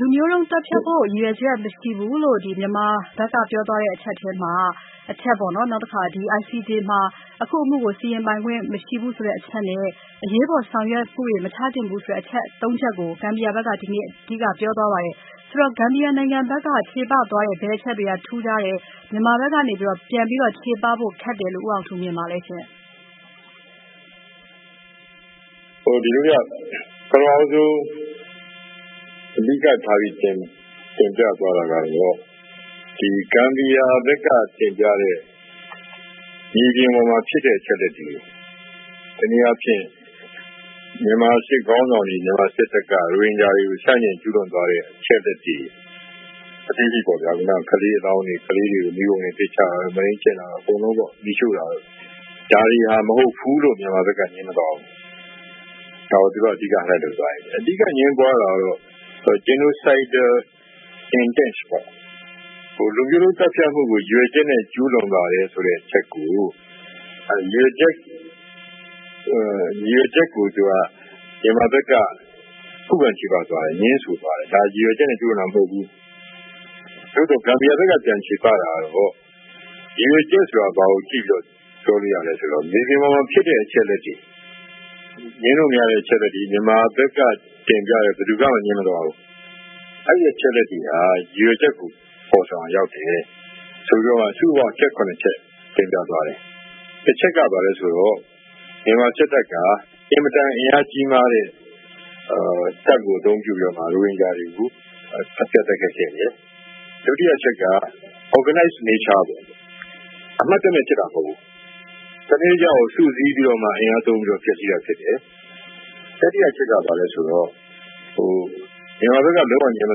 လူမျိုးတုံးသတ်ဖြတ်ဖို့ ရည်ရွယ်ချက်မရှိဘူးလို့ ဒီ မြန်မာဘက်ကပြောသွားတဲ့အချက်ထဲမှာ အချက်ပေါ့နော် ဒီICJ မှာ အခု အမှုကို စီရင်ပိုင်ခွင့်မရှိဘူးဆိုတဲ့ အချက်နဲ့ အရေးပေါ်ဆောင်ရွက်မှုတွေ မချသင့်ဘူးဆိုတဲ့ အချက် ၃ ချက်ကို Gambia ဘက်က ဒီကနေ့ အဓိကပြောသွားပါတယ်။ ဆိုတော့ Gambia နိုင်ငံဘက်က ချေပသွားတဲ့ ဘယ်အချက်တွေက ထူုးခြားတယ်၊ မြန်မာဘက်ကနေ ပြန်ပြီးတော့ ချေပဖို့ ခက်တယ်လို့ ဦးအောင်ထူးမြင်ပါသလဲရှင့်။ ဦးအောင်ထူး။ ။ ဒီလိုဗျ ပထမဦးဆုံး အဓိကထားပြီး တင်ပြသွားတာက Gambia ဘက်က တင်ပြတဲ့ မြေပြင်ပေါ်မှာ ဖြစ်တဲ့ အချက်အလက်တွေ ၊ တနည်းအားဖြင့် မြန်မာစစ်ခေါင်းဆောင်တွေ မြန်မာစစ်တပ်က ရိုဟင်ဂျာတွေကို ဆန့်ကျင်ကျူးလွန်ခဲ့တဲ့ အချက်အလက်တွေ အသေးစိတ်ပေါ့ဗျာ ကလေးတွေကို မီးပုံထဲ ပစ်ချတာတို့၊ မုဒိမ်းကျင့်တာ ၊ မီးရှို့ဖျက်ဆီးတာ အကုန်လုံးပေါ့ ။ ဒါတွေဟာ မဟုတ်ဘူးလို့ မြန်မာဘက် ငြင်းမသွားဘူး။ အဓိက အငြင်းပွားတာကတော့ Genocide intent ပေါ့ လူမျိုးတုံးသတ်ဖြတ်မှုကို ရည်ရွယ်ချက်နဲ့ ကျူးလွန်ပါတယ်ဆိုတဲ့ အချက်ကို ၊ ရည်ရွယ်ချက်ကို မြန်မာဘက်က ခုခံချေပသွားတယ်၊ ငြင်းဆိုသွားတယ်။ ဒါတွေကို ရည်ရွယ်ချက်နဲ့ ကျူးလွန်တာမဟုတ်ဘူး။ နောက် ဂမ်ဘီယာဘက်က ပြန်ချေပတာကတော့ ရည်ရွယ်ချက်ဆိုတာ ဘာကို ကြည့်ပြီးတော့ ပြောလို့ရသလဲဆိုတော့ မြေပြင်မှာ ဖြစ်တဲ့ချက်အလက်တွေ ငြင်းလို့မရတဲ့ အချက်အလက်တွေကို မြန်မာဘက်က ဘယ်သူမှ ငြင်းမသွားဘူး။ အဲဒီအချက်အလက်တွေက ရည်ရွယ်ချက်ကို ဖော်ဆောင်ရာရောက်တယ် ဆိုပြီးတော့ စုစုပေါင်း အချက် ၇ ချက်ကို တင်ပြသွားတယ်။ တချက်က ဘာလဲဆိုတော့ မြန်မာစစ်တပ်ဟာ အင်မတန် အင်အားကြီးမားတဲ့ တပ်ကို အသုံးပြုပြီးတော့ ရိုဟင်ဂျာတွေကို အပြတ်တိုက်ခိုက်ခဲ့တယ်။ ဒုတိယအချက်က Organize nature ပေါ့ အမှတ်တမဲ့ဖြစ်တာမဟုတ်ဘူး၊ စနစ်တကျ စုစည်းပြီးတော့ အင်အားသုံး တိုက်ခိုက်တာဖြစ်တယ်။ တတိယအချက်က ဘာလဲဆိုတော့ မြန်မာဘက်က ငြင်းမ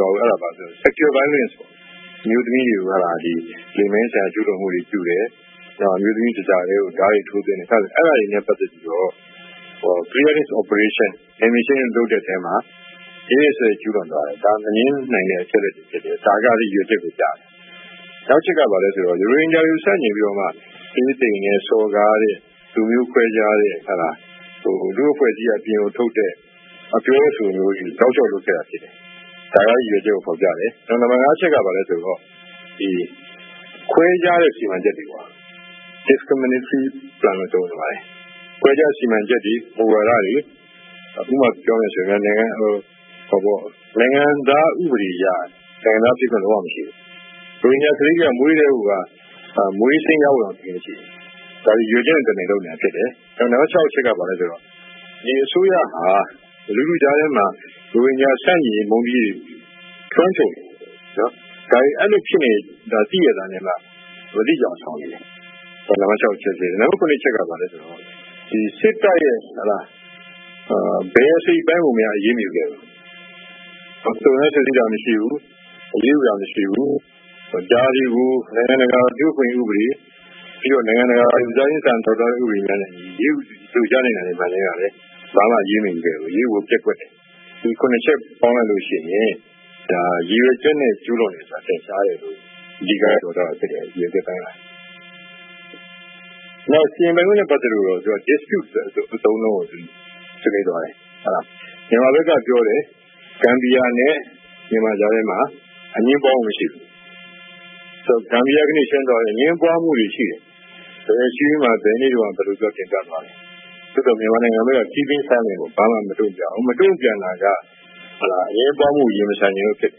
သွားဘူး အဲဒါဘာလဲဆိုတော့ Sexual Violence ပေါ့ အမျိုးသမီးတွေကို လိင်ပိုင်းဆိုင်ရာ ကျူးလွန်မှုတွေပြုတယ်၊ အဲဒါတွေနဲ့ ပတ်သက်ပြီးတော့ clearing operation နယ်မြေရှင်းလင်းရေးတွေ လုပ်တဲ့အထဲမှာ ရက်ရက်စက်စက်ကျူးလွန်သွားတယ်။ ဒါက မငြင်းနိုင်တဲ့အချက်တွေဖြစ်တယ်၊ ဒါကလည်း ရည်ရွယ်ချက်ကို ပြတာ ဖြစ်တယ်။ နောက်တချက်က ရိုဟင်ဂျာတွေကို ဆန့်ကျင်ပြီးမှ သေးသိမ်စော်ကားတဲ့ ၊ လူမျိုးခွဲခြားတဲ့ ၊ လူ့အဖွဲ့အစည်းက အပြင်ကို ထုတ်တဲ့ အပြောအဆိုတွေကို တောက်လျောက်လုပ်ခဲ့တာဖြစ်တယ်။ ဒါက ရည်ရွယ်ချက်ကို ဖော်ပြတယ်။ နောက် နံပတ် ၅ အချက်က ဘာလဲဆိုတော့ ခွဲခြားတဲ့ စီမံချက်တွေ Discriminatory plan ပေါ့နော် ခွဲခြားစီမံချက်တွေ မူဝါဒတွေ ၊ ဥပမာ ပြောမယ်ဆိုရင် နိုင်ငံသား ဥပဒေအရ နိုင်ငံသားဖြစ်ခွင့်မရှိဘူး။ ရိုဟင်ဂျာကလေးတွေက မွေးကတည်းက မွေးစာရင်းရဖို့တောင် အခက်အခဲရှိတယ်။ ဒါတွေက ရည်ရွယ်ချက်နဲ့ တမင်လုပ်နေတာဖြစ်တယ်။ နံပတ် ၆ အချက်က ဘာလဲဆိုတော့ အစိုးရဟာ လူထုကြားထဲမှာ ရိုဟင်ဂျာ ဆန့်ကျင် မုန်းတီးရေးတွေ လွှမ်းခြုံနေတယ်၊ ဒါတွေဖြစ်နေတာကို မသိချင်ယောင်ဆောင်နေတယ်။ နံပတ် ၇ အချက်က စစ်တပ်ရဲ့ ဘယ်အစိတ်အပိုင်းကိုမှ အရေးမယူခဲ့ဘူး။ စုံစမ်းစစ်ဆေးတာမရှိဘူး၊ အရေးယူတာမရှိဘူး။ ဒါတွေကို နိုင်ငံတကာ လူ့အခွင့်အရေးဥပဒေ ၊ နိုင်ငံတကာလူသားချင်းစာနာထောက်ထားတဲ့ ဥပဒေနဲ့အညီ အရေးယူလို့ ရနိုင်တာ မှန်သမျှလည်း ဘာမှ အရေးမယူခဲ့ဘူး အရေးယူဖို့ ပျက်ကွက်ခဲ့တယ်။ ဒီ ၇ ချက်ပေါင်းလိုက်ရင် ဒါ ရည်ရွယ်ချက်နဲ့ ကျူးလွန်တယ်ဆိုတာ ထင်ရှားတယ်လို့ အဓိကပြောသွားတယ်။ နောက် စီရင်ပိုင်ခွင့်နဲ့ ပတ်သက်လို့ dispute ဆိုတဲ့ အသုံးအနှုန်းကို ပေးသွားတယ်။ မြန်မာဘက်က ပြောတယ် ဂမ်ဘီယာနဲ့ မြန်မာကြားမှာ အငြင်းပွားမှု မရှိဘူး။ ဂမ်ဘီယာက ပြောတယ် အငြင်းပွားမှုတွေရှိတယ် ဘယ်အစည်းအဝေးမှာ ဘယ်လို တင်ပြထားတယ်။ သို့သော် မြန်မာဘက်က ဘာမှ မတုံ့ပြန်ဘူး။ မတုံ့ပြန်တာက အငြင်းပွားမှုကို ရင်မဆိုင်ရဲဘူးဖြစ်တ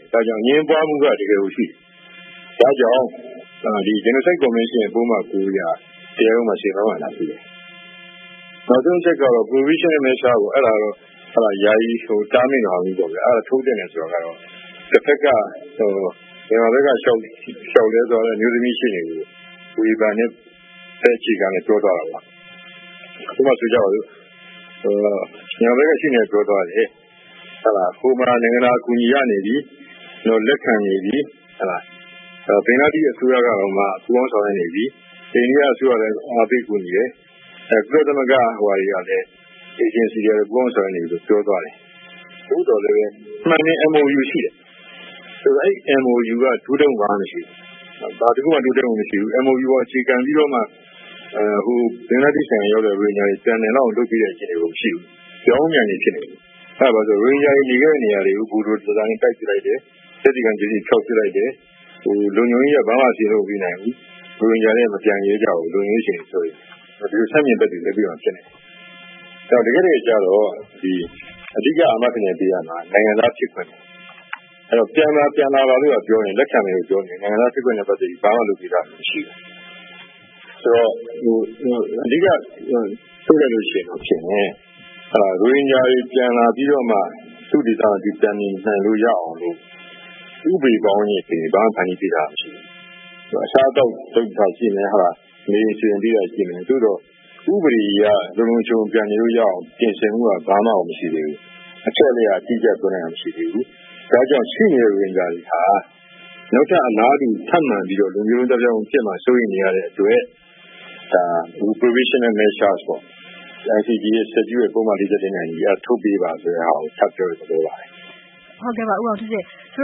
ယ် ဒါကြောင့် အငြင်းပွားမှုက တကယ်ကို ရှိတယ်။ ဒါကြောင့် Genocide convention ရဲ့ ပုဒ်မ ၉ အရ တရားရုံးမှာ စီမံမှု လာယူတယ်။ နောက်ဆုံးအချက်ကတော့ Provisional Measure ပေါ့ အဲဒါကတော့ ယာယီတားမြစ်တာထုတ်သင့်တယ်ဆိုတာက မြန်မာဘက်က လျှောက်လဲတဲ့ အမျိုးသမီးရှေ့နေကို ဝေဖန်တဲ့ပုံစံနဲ့ ချေပသွားတာပါ။ ဥပမာ၊ ညာဘက်က ရှေ့နေက ပြောသွားတယ်၊ နိုင်ငံတကာအကူအညီရနေပြီ၊ လက်ခံနေပြီ ၊ ဘင်္ဂလားဒေ့ရှ်အစိုးရတောင်မှ ပူးပေါင်းဆောင်ရွက်နေပြီ ။ အိန္ဒိယအစိုးရကလည်း အားပေးကူညီတယ်။ ကုလ Agency တွေကလည်း ပူးပေါင်းဆောင်ရွက်နေပြီလို့ ပြောသွားတယ်။ သို့သော် မှန်တယ် MOU ရှိတယ် အဲဒီ MOU က တိုးတက်မှု တခုမှ မရှိဘူး ၊ MOU ကို အခြေခံပြီးတော့မှ ဘင်္ဂလားဒေ့ရှ်ရောက် ရိုဟင်ဂျာတွေကို ပြန်နိုင်လောက်အောင် လုပ်ပေးတဲ့ အခြေအနေမရှိဘူး။ ပြောင်းပြန်တွေဖြစ်နေတယ် ဘာကြောင့်ဆိုတော့ ရိုဟင်ဂျာတွေနေခဲ့တဲ့ နေရာတွေကို ဘူဒိုဇာနဲ့ တိုက်ပစ်လိုက်တယ်။ သက်သေခံ ပစ္စည်းတွေ ဖျောက်လိုက်တယ်။ လုံခြုံရေးအရလည်း ဘာမှ မလုပ်ပေးနိုင်ဘူး။ ရိုဟင်ဂျာတွေက မပြန်ရဲကြဘူး။ ဒီလို ဆန့်ကျင်ဘက်တွေ ဖြစ်နေတယ်။ ဆိုတော့ တကယ့်တကယ်ကျတော့ အဓိက အာမခံချက်ပေးရမှာက နိုင်ငံသားဖြစ်ခွင့်ပေ့ါနော် ၊ ဆိုတော့ ပြန်လာပါ ၊ လက်ခံမယ်လို့ပြောနေတယ် နိုင်ငံသား ဖြစ်ခွင့်နဲ့ ပတ်သက်ပြီး ဘာမှ လုပ်ပေးတာ မရှိဘူး ဆိုတော့ အဓိက ပြောရရင် ရိုဟင်ဂျာတွေ ပြန်လာပြီး သူ့ဒေသ ပြန်လာနေလို့ ရအောင်လို့ ဥပဒေဘောင်တွေ ဘာမှ ဖန်တီးပေးထားတာမရှိဘူး။ အစားအသောက်ပေးတာရှိမယ် နေရာထိုင်ခင်းစီစဉ်ပေးတာရှိမယ် သို့သော် ဥပဒေအရ လုံလုံခြုံခြုံပြန်နေလို့ရအောင် ပြင်ဆင်မှုက ဘာမှကို မရှိသေးဘူး။ အချက်အလက်က အတိအကျ ပြောနိုင်တာမရှိသေးဘူး ဒါကြောင့် ရှိနေတဲ့ ရိုဟင်ဂျာတွေဟာ နောက်ထပ်အလားတူဖြစ်မှာ စိုးရိမ်နေရတဲ့အတွက် Provisional Measure ပေါ့ ICJ ရဲ့ ပုဒ်မ နဲ့အညီ ထုတ်ပေးပါဆိုတာကို ထပ်ပြောတဲ့ သဘောပါပဲ။ မေး။ ။ ဆို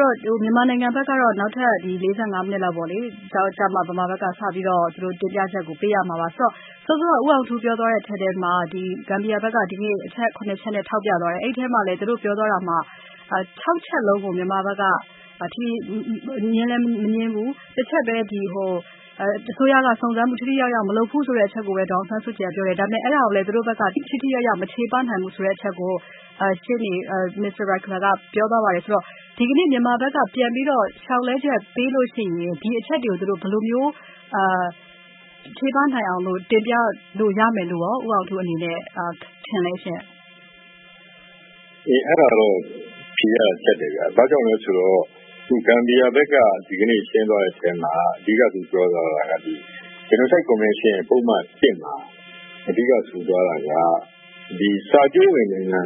တော့ မြန်မာနိုင်ငံဘက်က နောက်နေမှ သူတို့ တင်ပြချက်ကို စပေးရမှာပါ ဆိုတော့ စောစောက ပြောသွားတဲ့အထဲမှာ ဂမ်ဘီယာဘက်က အချက် ၇ ချက်နဲ့ ထောက်ပြသွားတယ်။ အဲဒီအထဲမှာ ၆ ချက်လုံးကို မြန်မာဘက်က ငြင်းလည်းမငြင်းဘူး ၊ တချက်ပဲ အစိုးရက စုံစမ်းမှု ထိထိရောက်ရောက်မလုပ်ဘူး ဆိုတဲ့အချက်ကိုပဲ ဒေါ်အောင်ဆန်းစုကြည်က ပြောတယ် အဲဒါကိုလည်း သူတို့ဘက်က ထိထိရောက်ရောက် မချေပနိုင်ဘူးဆိုတဲ့ အချက်ကို ရှေ့နေ က ပြောသွားပါတယ် အဲဒီတော့ ဒီကနေ့ မြန်မာဘက်က ပြန်ပြီးတော့ လျှောက်လဲချက်ပေးရင် ဒီအချက်တွေကို ဘယ်လိုမျိုး ချေပနိုင်အောင်လို့ တင်ပြလို့ ရမယ်လို့ရော ဦးအောင်ထူး အနေနဲ့ ထင်ပါသလဲ။ ဦးအောင်ထူး။ ။ အေးအဲ့ဒါတော့ ဖြေရတာ ကြပ်တယ်ဗျ။ ဘာကြောင့်လည်းဆိုတော့ Gambia ဘက်က ဒီကနေ့ ရှင်းသွားတဲ့ အထဲမှာ အဓိကသူပြောသွားတာက Genocide Convention ရဲ့ ပုဒ်မ ၁ မှာ အဓိက ဆိုသွားတာက ဒီစာချုပ်ဝင်နိုင်ငံ